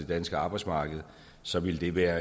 danske arbejdsmarked så ville det være